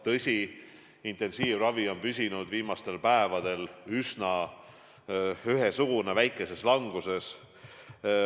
Tõsi, intensiivravil olijate arv on püsinud viimastel päevadel üsna ühesugune, see on isegi väikeses languses.